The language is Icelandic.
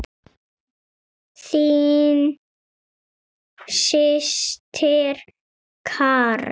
Þín systir Karen.